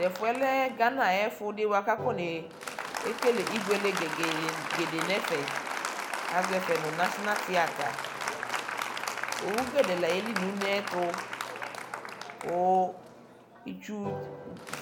Tɛfuɛ lɛɛ Ghana ayɛfuɛdi bua kakone kele ibuele gɛdɛɛ nɛfɛ aʒɔ ɛfɛ nu Nationl theater owu gɛdɛɛ la yieli nuneeɛtu ku itsuu